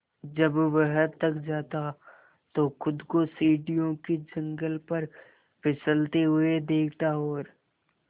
जब वह थक जाता तो खुद को सीढ़ियों के जंगले पर फिसलते हुए देखता और